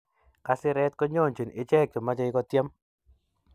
Kasiret konyonjini ichek che machei ko tiem